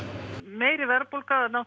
meiri verðbólga